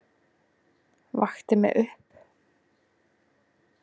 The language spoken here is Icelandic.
Vakti mig upp.